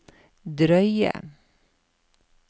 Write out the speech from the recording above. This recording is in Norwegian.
drøye